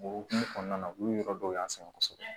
O hokumu kɔnɔna na u ye yɔrɔ dɔw y'an sɛgɛn kosɛbɛ